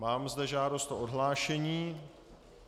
Mám zde žádost o odhlášení.